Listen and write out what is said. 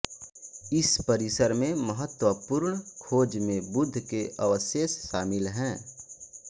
इस परिसर में महत्वपूर्ण खोज में बुद्ध के अवशेष शामिल हैं